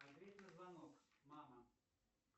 ответь на звонок мама